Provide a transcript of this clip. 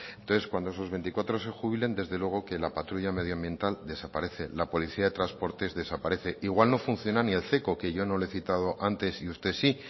entonces cuando esos veinticuatro se jubilen desde luego que la patrulla medioambiental desaparece la policía de transportes desaparece igual no funciona ni el que yo no le he citado antes y usted sí